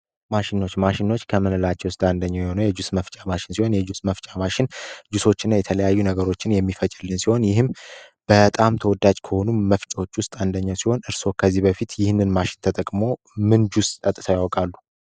ማሽኖች ማሽኖች ከምንላቸው አንደኛ የሆኑ የእጁስ መፍጫ ማሽን ሲሆን የተለያዩ ነገሮችን የሚፈልግልን ሲሆን ይህም በጣም ተወዳጅ ከሆኑ መፍጮዎች ውስጥ አንደኛ ሲሆን እርሶ ከዚህ በፊት ይህንን ማሽን ተጠቅሞ ምን ጁስ ጠጥተው ያውቃሉ?